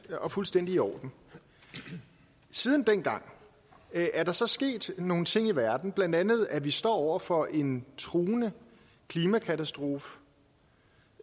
og fuldstændig i orden siden dengang er der så sket nogle ting i verden blandt andet at vi står over for en truende klimakatastrofe